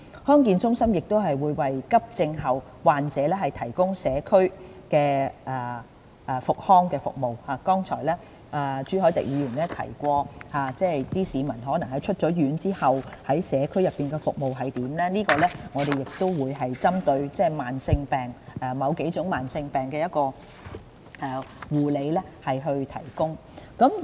康健中心亦會為急症後患者提供社區復康服務，剛才朱凱廸議員提到有些市民可能在出院後於社區內接受服務，在這方面，我們會針對某幾種慢性疾病提供護理。